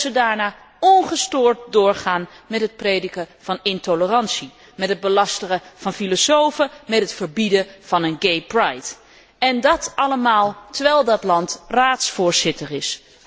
En dat zij daarna ongestoord doorgaan met het prediken van intolerantie, met het belasteren van filosofen, met het verbieden van een gaypride En dat allemaal, terwijl dat land Raadsvoorzitter is!